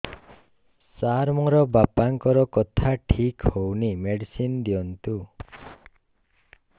ସାର ମୋର ବାପାଙ୍କର କଥା ଠିକ ହଉନି ମେଡିସିନ ଦିଅନ୍ତୁ